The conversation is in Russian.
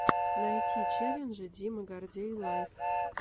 найти челленджи дима гордей лайв